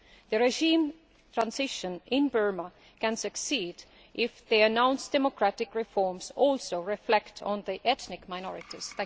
The regime transition in Burma can succeed if the announced democratic reforms also reflect on the ethnic minorities.